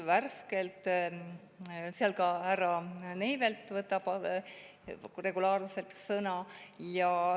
Seal võtab ka härra Neivelt regulaarselt sõna.